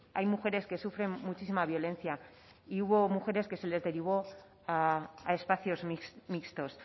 hay mujeres que sufren muchísima violencia y hubo mujeres que se les derivó a espacios mixtos